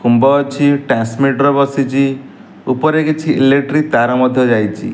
ଖୁମ୍ବ ଅଛି ଟ୍ରାନ୍ସମିଟର ବସିଚି ଉପରେ କିଛି ଇଲେକ୍ଟ୍ରି ତାର ମଧ୍ଯ ଯାଇଚି ।